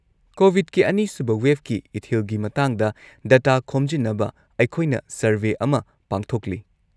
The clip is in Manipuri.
-ꯀꯣꯕꯤꯗꯀꯤ ꯑꯅꯤꯁꯨꯕ ꯋꯦꯕꯀꯤ ꯏꯊꯤꯜꯒꯤ ꯃꯇꯥꯡꯗ ꯗꯇꯥ ꯈꯣꯝꯖꯤꯟꯅꯕ ꯑꯩꯈꯣꯏꯅ ꯁꯔꯚꯦ ꯑꯃ ꯄꯥꯡꯊꯣꯛꯂꯤ ꯫